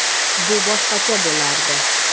Bu boshqacha bo‘lardi.